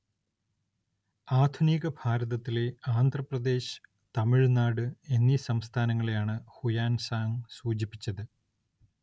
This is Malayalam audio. ആധുനിക ഭാരതത്തിലെ ആന്ധ്രാപ്രദേശ്, തമിഴ്‌നാട് എന്നീ സംസ്ഥാനങ്ങളെയാണ് ഹുയാൻസാങ്ങ് സൂചിപ്പിച്ചത്.